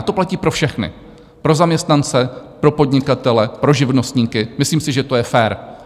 A to platí pro všechny - pro zaměstnance, pro podnikatele, pro živnostníky, myslím si, že to je fér.